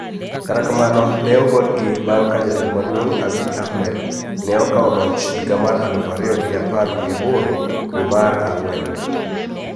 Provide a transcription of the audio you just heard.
Kata kamano ne ogolgi bang` ka jatelo maduong` Abiy Ahmed ne okawo loch higa mar aluf ariyo gi apar gi aboro dwe mar ang`wen